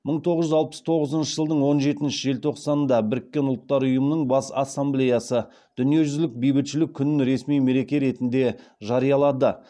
мың тоғыз жүз алпыс тоғызыншы жылдың он жетінші желтоқсанында біріккен ұлттар ұйымы бас ассамблеясы дүниежүзілік бейбітшілік күнін ресми мереке ретінде жариялады